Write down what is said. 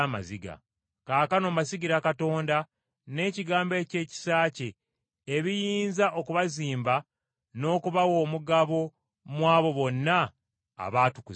“Kaakano mbasigira Katonda n’ekigambo eky’ekisa kye ebiyinza okubazimba n’okubawa omugabo mu abo bonna abaatukuzibwa.